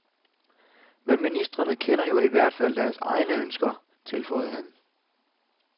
Men ministrene kender jo i hvert fald deres egne ønsker, tilføjede han.